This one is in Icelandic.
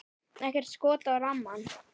Ekkert skot á rammann?